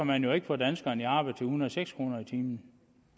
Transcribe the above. man jo ikke få danskerne i arbejde til en hundrede og seks kroner i timen